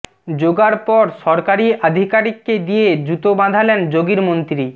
যোগার পর সরকারি আধিকারিককে দিয়ে জুতো বাঁধালেন যোগীর মন্ত্রী